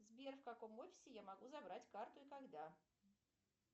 сбер в каком офисе я могу забрать карту и когда